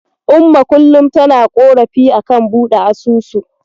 Umma kullum tana ƙorafi a kan buɗe asusu.